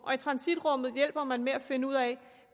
i transitrummet hjælper man med at finde ud af